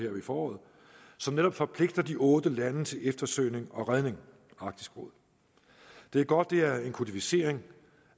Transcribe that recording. foråret som netop forpligter de otte lande til eftersøgning og redning det er godt det er en kodificering